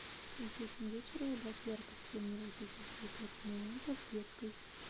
в восемь вечера убавь яркость энергосберегательной лампы в детской